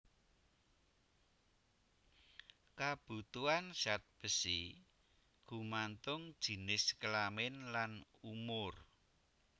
Kabutuhan zat besi gumantung jinis kelamin lan umur